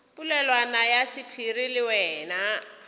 polelwana ya sephiri le wena